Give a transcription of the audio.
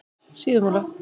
Síðumúla